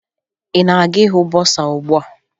Ị na-aga ịhụ bọsaa ugbua?